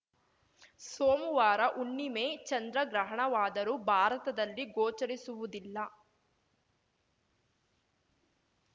ಸೋಮುವಾರ ಹುಣ್ಣಿಮೆ ಚಂದ್ರಗ್ರಹಣವಾದರೂ ಭಾರತದಲ್ಲಿ ಗೋಚರಿಸುವುದಿಲ್ಲ